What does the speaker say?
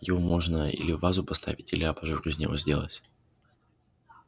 его можно или в вазу поставить или абажур из него сделать